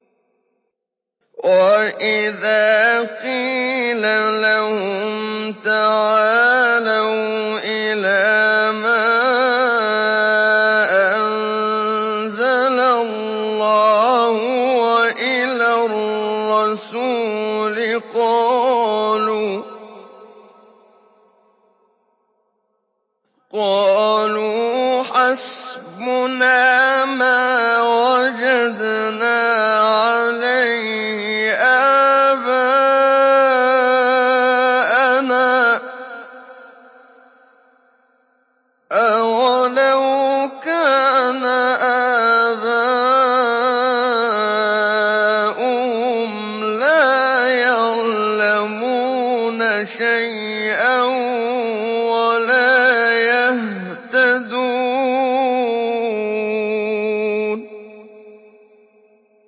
وَإِذَا قِيلَ لَهُمْ تَعَالَوْا إِلَىٰ مَا أَنزَلَ اللَّهُ وَإِلَى الرَّسُولِ قَالُوا حَسْبُنَا مَا وَجَدْنَا عَلَيْهِ آبَاءَنَا ۚ أَوَلَوْ كَانَ آبَاؤُهُمْ لَا يَعْلَمُونَ شَيْئًا وَلَا يَهْتَدُونَ